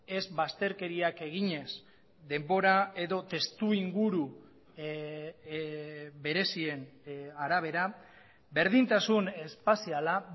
ez bazterkeriak eginez denbora edo testu inguru berezien arabera berdintasun espaziala